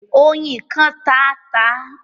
Ọyin kàn tá a ta.